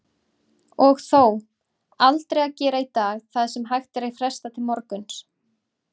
Og þó, aldrei að gera í dag það sem hægt er að fresta til morguns.